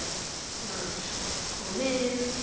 LÁRUS: Kom inn!